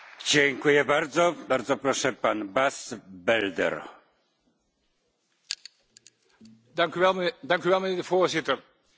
Voorzitter, één recent beeld uit de Gazastrook heeft mij sterk geschokt en schokt me tot op vandaag.